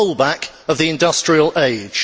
a rollback of the industrial age'.